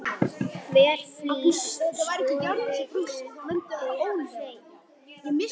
Hver flís skorðuð og hrein.